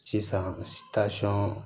Sisan